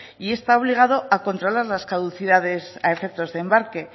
y está obligado a controlar las caducidades a efectos de embarque